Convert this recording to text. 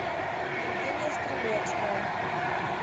евгения стрелецкая